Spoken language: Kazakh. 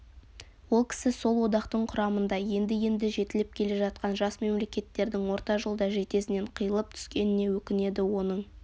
ол кісі сол одақтың құрамында енді-енді жетіліп келе жатқан жас мемлекеттердің орта жолда жетесінен қиылып түскеніне өкінеді оның